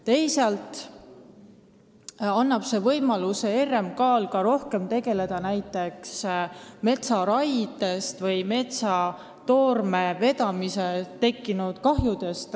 Teisalt annab see RMK-le võimaluse rohkem tegeleda näiteks metsaraiel või metsatoorme vedamisel tekkinud kahjudega.